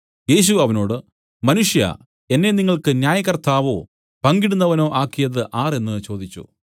അവനോട് യേശു മനുഷ്യാ എന്നെ നിങ്ങൾക്ക് ന്യായകർത്താവോ പങ്കിടുന്നവനോ ആക്കിയത് ആർ എന്നു ചോദിച്ചു